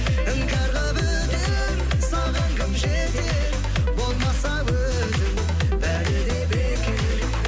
іңкәр қылып өтер саған кім жетер болмаса өзің бәрі де бекер